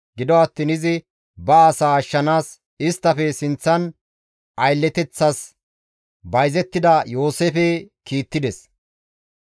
Gido attiin izi ba asaa ashshanaas isttafe sinththan aylleteththas bayzettida Yooseefe kiittides.